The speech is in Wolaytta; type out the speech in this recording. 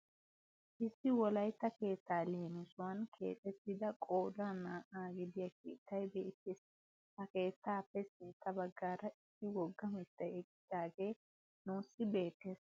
Issi wolaytta keettaa leemisuwaan keexettida qoodan naa"aa gidiyaa keettay beettees. ha keettaappe sintta baggaara issi wogga mittay eqqidagee nuusi beettees.